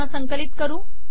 पुन्हा संकलित करू